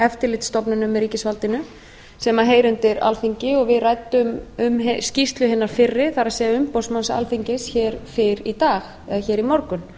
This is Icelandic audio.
eftirlitsstofnunum í ríkisvaldinu sem heyra undir alþingi og við ræddum um skýrslu hinnar fyrri það er umboðsmanns alþingis hér fyrr í dag eða hér í morgun